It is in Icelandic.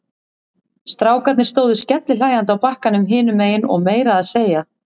Strákarnir stóðu skellihlæjandi á bakkanum hinum megin og meira að segja